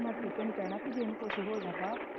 ਮੈਂ ਤੇ ਨੂੰ ਕਹਿਣਾ ਜੇ ਇਹਨੂੰ ਕੁਝ ਹੋ ਜਾਂਦਾ।